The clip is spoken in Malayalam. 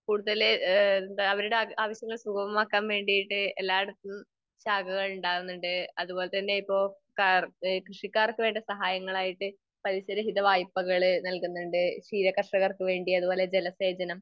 കൂടുതല് ഏഹ് എന്താ അവരുടെ ആവശ്യങ്ങൾ സുഗമമാക്കാൻ വേണ്ടിട്ട് എല്ലായിടത്തും ശാഖകൾ ഉണ്ടാവുന്നുണ്ട്. അതുപോലതന്നെ ഇപ്പൊ കർ, കൃഷിക്കാർക്ക് വേണ്ട സഹായങ്ങളായിട്ട് പലിശ രഹിത വായ്പ്പകൾ നൽകുന്നുണ്ട്. ക്ഷീരകർഷകർക്ക് വേണ്ടി, അതുപോലെ ജലസേചനം